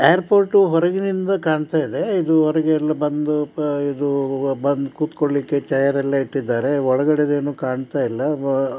airport ಹೊರಗೆನಿಂದ ಕಾಣ್ತಾ ಇದೆ ಇದು ಹೊರಗೆ ಎಲ್ಲ ಬಂದು ಅಹ್ ಇದು ಬಂದು ಕುತ್ಕೊಳ್ಳಿಕ್ಕೆ ಚೇರ್ ಎಲ್ಲ ಇಟ್ಟಿದ್ದಾರೆ ಒಳಗಡೆದ್ ಏನು ಕಾಣ್ತಾ ಇಲ್ಲ ಅಹ್ --